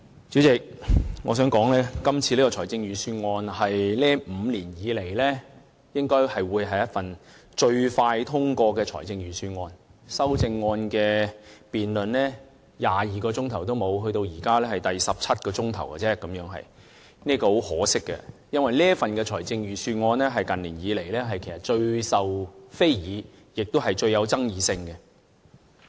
主席，我想說今次這份財政預算案應該是這5年來最快獲得通過的預算案，修正案的辯論不足22小時，至今只是第十七小時，這是很可惜的，因為這份預算案是近年來最受非議，也是最具有爭議性的。